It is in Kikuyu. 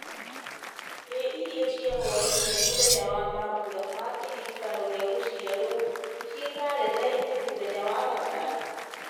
ĩ irio cia hwaĩ-inĩ mũthenya wa mambura ma kĩririkano gĩa gwaciarwo ciĩ karenda-inĩ mũthenya wa gatano